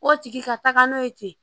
O tigi ka taga n'o ye ten